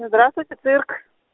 здравствуйте цирк